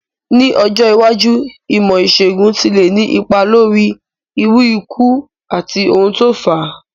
Ní ọjọ́ iwájú, ìmó ìsègùn ti le ni ipa lórí irú ikú àti oun to n fáa